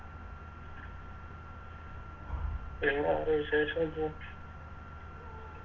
പിന്നെ വേറെ വിശേഷേന്തുവാ